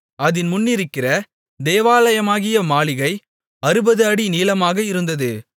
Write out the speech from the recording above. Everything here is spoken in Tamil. அதின் முன்னிருக்கிற தேவாலயமாகிய மாளிகை 60 அடி நீளமாக இருந்தது